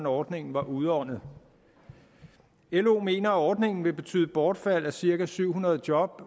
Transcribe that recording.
ordningen var udåndet lo mener at ordningen vil betyde bortfald af cirka syv hundrede job